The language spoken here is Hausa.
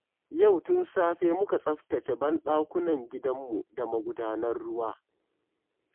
Yau tun safe muka tsaftace banɗakunan gidanmu da magudanan ruwa